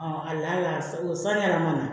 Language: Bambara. o sanni yɛrɛ mana